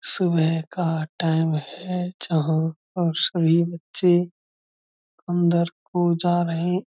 सुबह का टाइम है। जहाँ पर सभी बच्चे अन्दर को जा रहें --